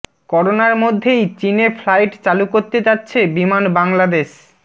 করোনার মধ্যেই চীনে ফ্লাইট চালু করতে যাচ্ছে বিমান বাংলাদেশ